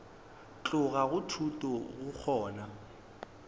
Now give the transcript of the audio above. tloga go thuto go kgona